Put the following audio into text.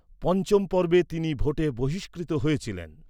পঞ্চম পর্বে তিনি ভোটে বহিস্কৃত হয়েছিলেন।